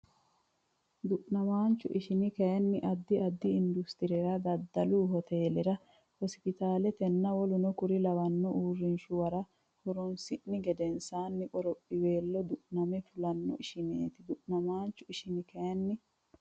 Du namaanchu ishini kayinni addi addi industirera daddalu hoteelera hospitaalenna w k l uurrinshuwara horoonsi ni gedensaanni qorophiweelo du name fulanno ishineeti Du namaanchu ishini kayinni.